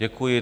Děkuji.